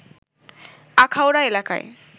আখাউড়া এলাকায়